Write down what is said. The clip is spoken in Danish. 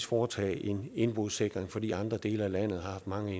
foretage en indbrudssikring fordi andre dele af landet har haft mange